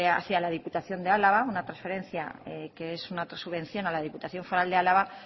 hacia la diputación de álava una preferencia que es una subvención a la diputación foral de álava